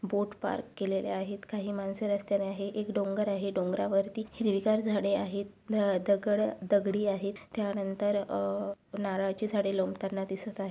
बोट park केलेले आहेत काही माणसे रस्त्याने आहेत एक डोंगर आहे डोंगरावरती हिरवीगार झाडे आहेत ध अह दगड दगडी आहेत त्यानंतर अह नारळाची झाडे लोंबताना दिसत आहे.